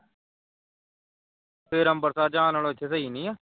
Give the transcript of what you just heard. ਫਿਰ ਅੰਬਰਸਰ ਜਾਣ ਨਾਲੋਂ ਇਥੇ ਸਹੀ ਨੀ ਆ?